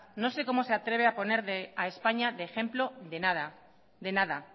no sé cómo se atreve poner a españa de ejemplo de nada de nada